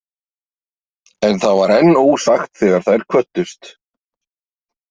En það var enn ósagt þegar þær kvöddust.